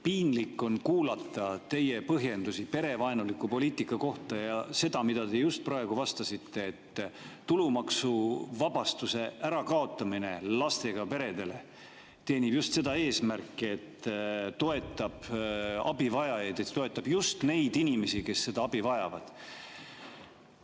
Piinlik on kuulata teie põhjendusi perevaenuliku poliitika kohta ja seda, mida te just praegu vastasite, et lastega perede tulumaksuvabastuse ärakaotamine teenib just eesmärki toetada abivajajaid, toetab just neid inimesi, kes seda abi vajavad.